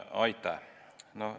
Aitäh!